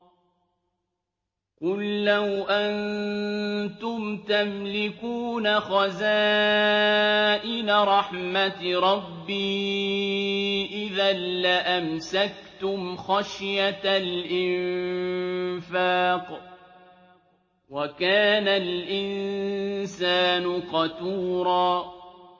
قُل لَّوْ أَنتُمْ تَمْلِكُونَ خَزَائِنَ رَحْمَةِ رَبِّي إِذًا لَّأَمْسَكْتُمْ خَشْيَةَ الْإِنفَاقِ ۚ وَكَانَ الْإِنسَانُ قَتُورًا